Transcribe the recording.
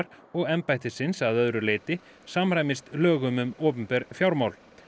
og embættisins að öðru leyti samræmist lögum um opinber fjármál